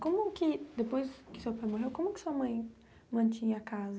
Como que, depois que seu pai morreu, como que sua mãe mantinha a casa?